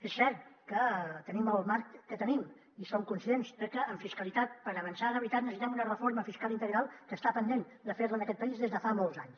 és cert que tenim el marc que tenim i som conscients de que en fiscalitat per avançar de veritat necessitem una reforma fiscal integral que està pendent de fer en aquest país des de fa molts anys